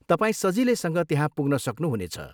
तपाईँ सजिलैसँग त्यहाँ पुग्न सक्नु हुनेछ।